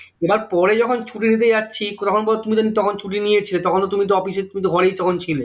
এবার পরে যখন ছুটি নিতে যাচ্ছি তখন বলে তুমি তো তখন ছুটি নিয়ে ছিলে তখন তো তুমি তো office এ তুমি তো ঘরেই তখন ছিলে